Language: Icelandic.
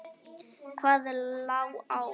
Hvað lá á?